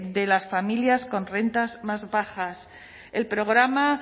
de las familias con rentas más bajas el programa